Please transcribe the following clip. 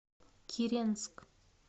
киренск